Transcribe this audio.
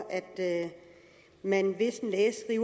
at man hvis en læge